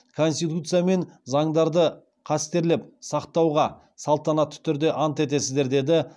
конституция мен заңдарды қастерлеп сақтауға салтанатты түрде ант етесіздер деді